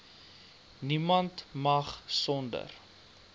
niemand mag sonder